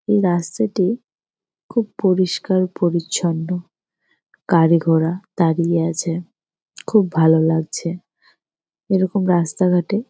এই রাস্তাটি খুব পরিষ্কার পরিছন্ন। গাড়ি ঘোড়া দাঁড়িয়ে আছে। খুব ভালো লাগছে। এরকম রাস্তা ঘাটে--